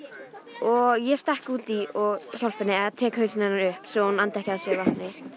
og ég stekk út í og hjálpa henni og tek hausinn hennar upp svo hún andi ekki að sér vatni